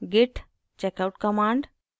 git checkout command